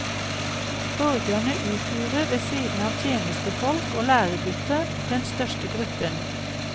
Borgerne utgjorde, ved siden av tjenstefolk og læregutter, den største gruppen.